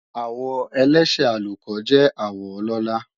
Àwọ elése àlùkò jẹ́ àwọ ọlọ́la